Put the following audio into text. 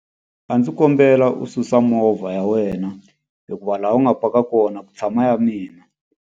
A ndzi kombela u susa movha ya wena hikuva laha u nga paka kona ku tshama ya mina.